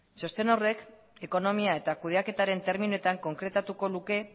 txosten horrek ekonomia eta kudeaketaren terminoetan konkretatuko luke